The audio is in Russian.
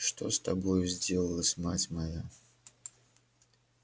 что с тобою сделалось мать моя